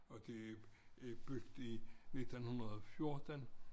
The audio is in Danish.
Og det er bygget i 1914